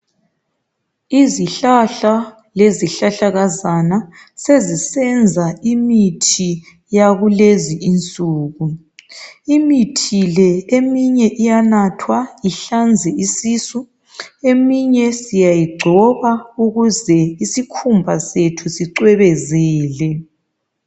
Izihlahla lezihlahlakazana sezisenza imithi yakulezi insuku imithi le eminye iyanathwa ihlanze isisu, eminye siyayigcoba ukuze isikhumba sethu sicwebezele.